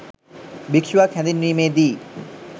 භික්‍ෂුවක් හැඳින්වීමේ දී